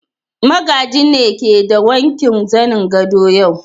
Magaji ne ke de wanke zanen gadon yau.